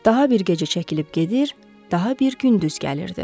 Daha bir gecə çəkilib gedir, daha bir gündüz gəlirdi.